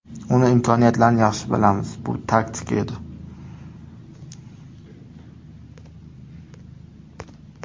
Uning imkoniyatlarini yaxshi bilamiz, bu taktika edi.